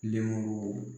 Lenmuru